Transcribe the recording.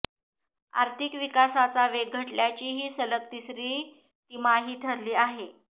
आर्थिक विकासाचा वेग घटल्याची ही सलग तिसरी तिमाही ठरली आहे